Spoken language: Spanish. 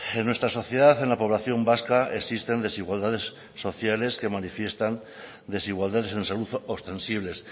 en nuestra sociedad en la población vasca existen desigualdades sociales que manifiestan desigualdades en salud ostensibles